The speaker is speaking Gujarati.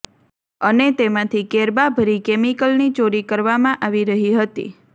અને તેમાંથી કેરબા ભરી કેમિકલની ચોરી કરવામાં આવી રહી હતી